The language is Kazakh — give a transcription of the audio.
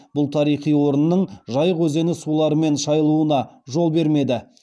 бұл тарихи орынның жайық өзені суларымен шайылуына жол бермеді